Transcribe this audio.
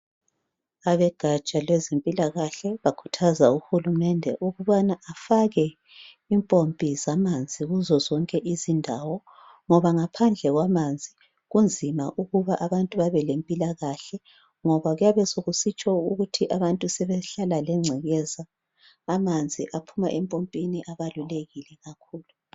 Ugaja lwezempilakahle bakhuthaza uhulumende ukuthi befake impompi kuzo zonke indawo ngoba ngaphandle kwamanzi kunzima ukuthi abantu bebe lempilakahle ngoba kuyabe sekusitsho ukuthi abantu sebehlala lengcekeza amanzi aphuma empompini abalulekile kakhulu